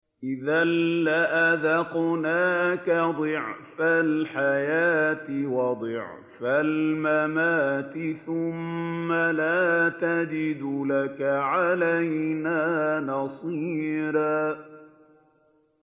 إِذًا لَّأَذَقْنَاكَ ضِعْفَ الْحَيَاةِ وَضِعْفَ الْمَمَاتِ ثُمَّ لَا تَجِدُ لَكَ عَلَيْنَا نَصِيرًا